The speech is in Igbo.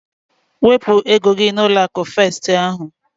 Wepụ ego gị n'ụlọ akụ festi ahu!